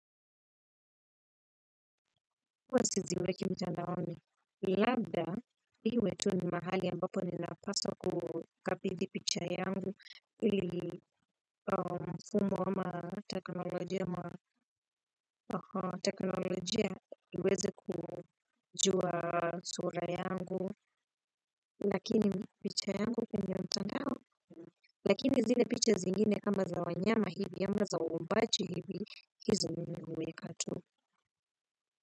Huwa sijiweki mtandaoni, labda iwe tu ni mahali ambapo ninapaswa kukabidhi picha yangu ili mfumo ama teknolojia ma teknolojia iweze kujua sura yangu lakini picha yangu kwwnye mtandao. Lakini zile picha zingine kama za wanyama hivi ama za waombaji hivi hizi mimi huweka tu.